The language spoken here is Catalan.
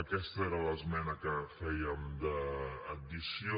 aquesta era l’esmena que fèiem d’addició